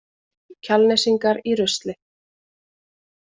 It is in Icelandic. Kjalnesingar í rusli